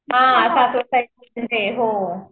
हां सासवड साईडला हो